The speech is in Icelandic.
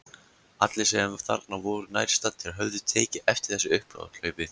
Allir sem þarna voru nærstaddir höfðu tekið eftir þessu upphlaupi.